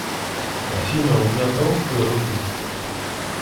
афина у меня толстые руки